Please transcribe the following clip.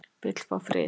Vill fá frið